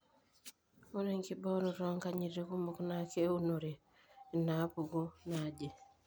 Ore enkiboorito oonkanyiti kumok naa keunore inaapuku naaje.